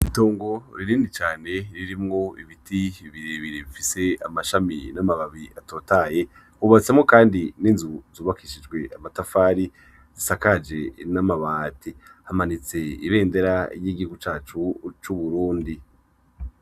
Itongo rinini cane ririmwo ibiti birebire bifise amashami n'amababi atotahaye, hubatsemwo kandi n'inzu zubakishijwe amatafari, zisakaje n'amabati. Hamanitse ibendera ry'igihugu cacu c'Uburundi.